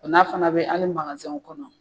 O n'a fana be hali kɔnɔ